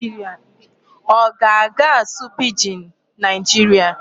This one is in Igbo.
Ọ ga-aga asụ Pidgin Nigeria?